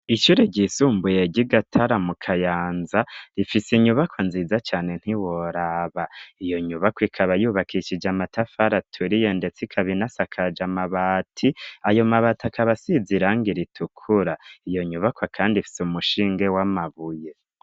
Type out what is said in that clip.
Icure ryisumbuyega igatara mu kayanza rifise inyubako nziza cane ntiworaba iyo nyubako ikaba yubakishije amatafaraturiye, ndetse ikabinasakaja amabati ayo mabati akabasiziranga ritukura iyo nyubakwa, kandi fise umushinge w' amabuye.